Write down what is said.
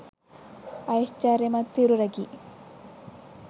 ඓශ්චර්යමත් සිරුරකි.